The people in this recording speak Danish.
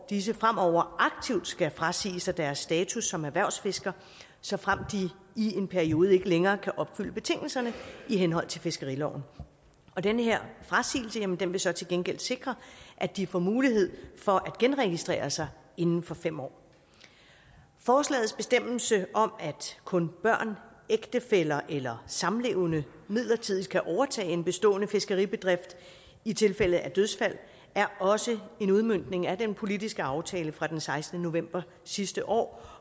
disse fremover aktivt skal frasige sig deres status som erhvervsfisker såfremt de i en periode ikke længere kan opfylde betingelserne i henhold til fiskeriloven og den her frasigelse vil så til gengæld sikre at de får mulighed for at genregistrere sig inden for fem år forslagets bestemmelse om at kun børn ægtefæller eller samlevende midlertidigt kan overtage en bestående fiskeribedrift i tilfælde af dødsfald er også en udmøntning af den politiske aftale fra den sekstende november sidste år